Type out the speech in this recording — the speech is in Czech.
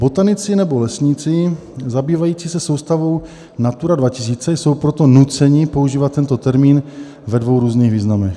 Botanici nebo lesníci zabývající se soustavou Natura 2000 jsou proto nuceni používat tento termín ve dvou různých významech.